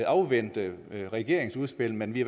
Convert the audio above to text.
afvente regeringens udspil men vi